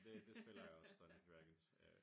Det det spiller jeg også Dungeons and Dragons øh